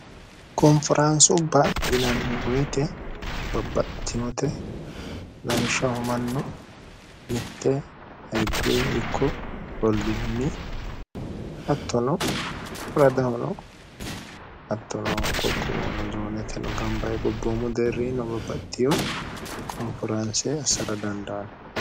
konferaansubba yinanni woyite babbattinote lamishshhomannu mitte ayirduwi ikko rolluhunni attono radahono attono qoqqoono zooneteno gambae gobboommu deerrino babbattiyo konferaanse assara danda anno